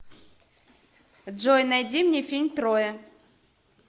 джой найди мне фильм троя